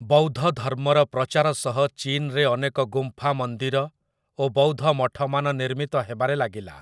ବୌଦ୍ଧଧର୍ମର ପ୍ରଚାର ସହ ଚୀନରେ ଅନେକ ଗୁମ୍ଫା ମନ୍ଦିର ଓ ବୌଦ୍ଧମଠମାନ ନିର୍ମିତ ହେବାରେ ଲାଗିଲା ।